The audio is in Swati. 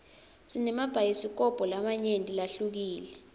sinemabhayisikobho lamanyenti lahlukile